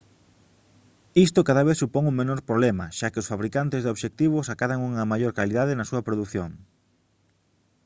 isto cada vez supón un menor problema xa que os fabricantes de obxectivos acadan unha maior calidade na súa produción